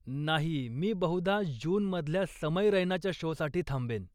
नाही, मी बहुधा जूनमधल्या समय रैनाच्या शोसाठी थांबेन.